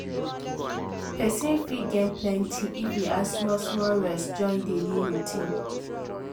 person fit gain plenty if e add small-small rest join daily routine.